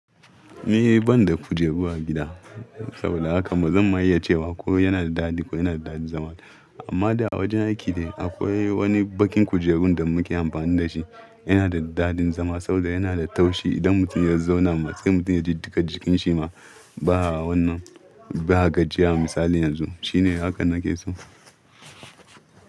Ni ban da kujeru a gida saboda haka ba zan ma iya cewa ko yana da daɗi ko yana da daɗin zama ba. Amma da a wajen aiki ne akwai wani baƙin kujerun da muke amfani da shi. Yana da daɗin zama saboda yana da taushi. Idan mutum ya zauna matse mutum ya ji duka jikinsa ma, ba a wannan, ba a gajiyar misali yanzu. Shine hakan nake so.